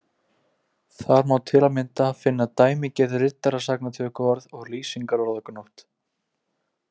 Þar má til að mynda finna dæmigerð riddarasagnatökuorð og lýsingarorðagnótt.